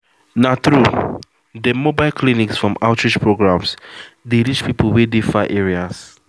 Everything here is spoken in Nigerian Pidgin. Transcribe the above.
na true dem mobile clinics from outreach programs dey reach people wey dey far areas